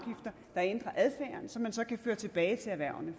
som man så kan føre tilbage til erhvervene